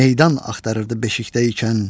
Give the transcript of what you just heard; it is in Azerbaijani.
Meydan axtarırdı beşikdə ikən.